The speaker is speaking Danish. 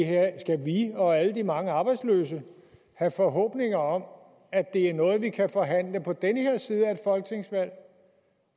og alle de mange arbejdsløse have forhåbninger om at det er noget vi kan forhandle på den her side af folketingsvalg